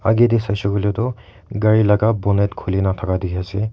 agae tae saishey koilae tu gari laka Bonet khulina thaka dikhiase.